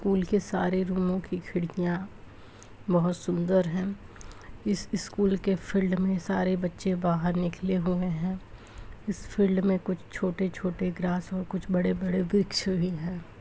School के सारे रूमो की खिड़कियां बहुत सुंदर है इस स्कूल के फील्ड में सारे बच्चे बाहर निकले हुए हैं इस फील्ड में कुछ छोटे छोटे ग्रास और कुछ बड़े बड़े वृक्ष भी हैं।